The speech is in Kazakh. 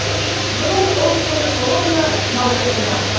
бүгін ұлыстың ұлы күні наурыз мейрамы